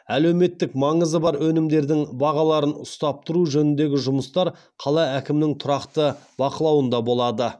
әлеуметтік маңызы бар өнімдердің бағаларын ұстап тұру жөніндегі жұмыстар қала әкімдігінің тұрақты бақылауында болады